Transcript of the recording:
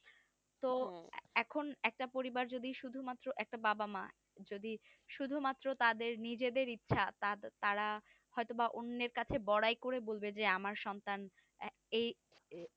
তো এখন একটা পরিবার যদি শুধুমাত্র একটা বাবা মা যদি শুধুমাত্র তাদের নিজেদের ইচ্ছা তা~তারা হয়তো বা অন্যের কাছে বড়াই করে বলবে যে আমার সন্তান এ~এই